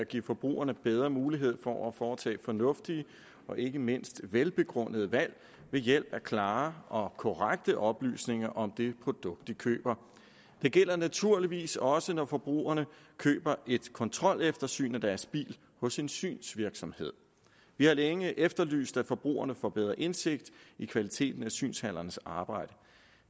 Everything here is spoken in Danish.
at give forbrugerne bedre mulighed for at foretage fornuftige og ikke mindst velbegrundede valg ved hjælp af klare og korrekte oplysninger om det produkt de køber det gælder naturligvis også når forbrugerne køber et kontroleftersyn af deres bil hos en synsvirksomhed vi har længe efterlyst at forbrugerne får bedre indsigt i kvaliteten af synshallernes arbejde